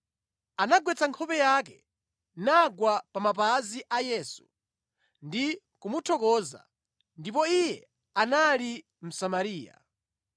Anagwetsa nkhope yake nagwa pa mapazi a Yesu ndi kumuthokoza. Ndipo iye anali Msamariya.